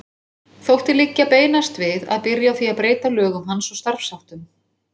Þótti liggja beinast við að byrja á því að breyta lögum hans og starfsháttum.